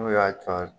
N'u y'a jɔ